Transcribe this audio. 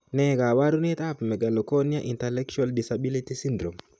Ne kaabarunetap Megalocornea intellectual disability syndrome?